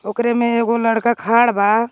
ओकरे में एगो लड़का खाड़ बा।